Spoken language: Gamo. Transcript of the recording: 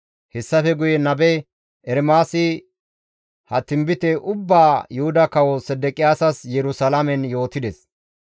Hessafe guye nabe Ermaasi ha tinbite ubbaa Yuhuda Kawo Sedeqiyaasas Yerusalaamen yootides.